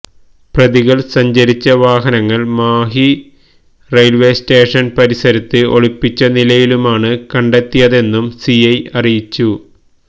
പ്രതികള് സഞ്ചരിച്ച വാഹനങ്ങള് മാഹി റെയില്വെ സ്റ്റേഷന് പരിസരത്ത് ഒളിപ്പിച്ച നിലയിലുമാണ് കണ്ടെത്തിയതെന്നും സിഐ അറിയിച്ചു